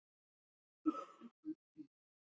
En hvað segja nemendur skólans um þetta mál?